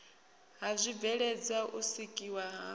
ha zwibveledzwa u sikiwa ha